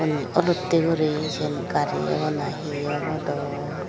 unni olotte gori cian gari obo na he obo dow.